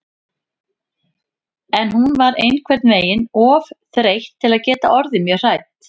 En hún var einhvern veginn of þreytt til að geta orðið mjög hrædd.